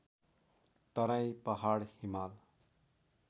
Terai Pahad Himal